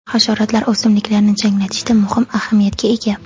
Hasharotlar o‘simliklarni changlatishda muhim ahamiyatga ega.